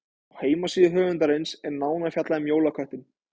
Á heimasíðu höfundarins er nánar fjallað um jólaköttinn.